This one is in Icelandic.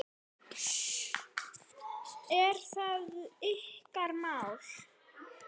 Er þetta ykkar mál?